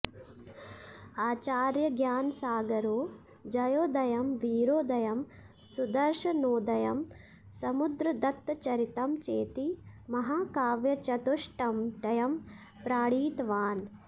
आचार्यज्ञानसागरो जयोदयं वीरोदयं सुदर्शनोदयं समुद्रदत्तचरितं चेति महाकाव्यचतुष्टयं प्रणीतवान्